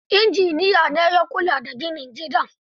Injiniya ne ya kula da ginin gidan.